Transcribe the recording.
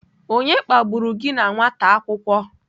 Onye kpagburu gi na nwata akwukwo?